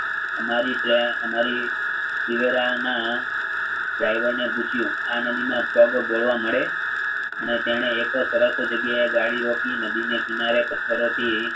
અમારી ટ્રે અમારી જીગરના driver ને પૂછ્યું આ નદીમાં પગ બોળવા મળે અને તેણે એક સરસ જગ્યાએ ગાડી રોકી નદીને કિનારે પથ્થરોથી